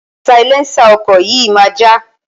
Sailẹ́ńsà ọkọ̀ yìí máa já.